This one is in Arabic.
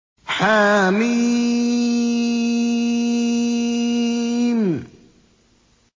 حم